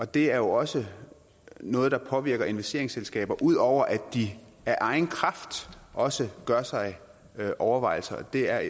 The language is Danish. det er jo også noget der påvirker investeringsselskaber ud over at de af egen kraft også gør sig overvejelser det er